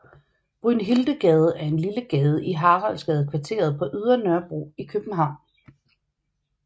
Brynhildegade er en lille gade i Haraldsgadekvarteret på Ydre Nørrebro i København